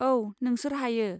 औ, नोंसोर हायो।